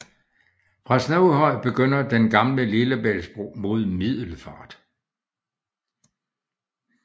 Fra Snoghøj begynder den Gamle Lillebæltsbro mod Middelfart